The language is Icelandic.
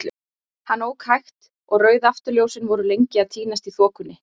Hann ók hægt, og rauð afturljósin voru lengi að týnast í þokunni.